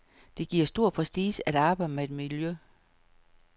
Det giver stor prestige at arbejde med miljø.